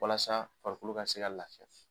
Walasa farikolo ka se ka lafiya.